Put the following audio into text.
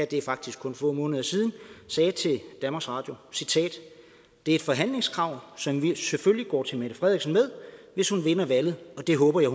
det er faktisk kun få måneder siden sagde til danmarks radio det er et forhandlingskrav som vi selvfølgelig går til mette frederiksen med hvis hun vinder valget og det håber jeg